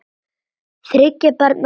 Þriggja barna móðir.